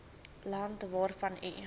land waarvan u